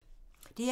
DR2